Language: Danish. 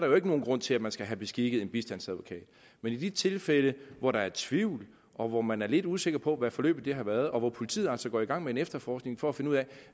jo ikke nogen grund til at man skal have beskikket en bistandsadvokat men i de tilfælde hvor der er tvivl og hvor man er lidt usikker på hvad forløbet har været og hvor politiet altså går i gang med en efterforskning for at finde ud af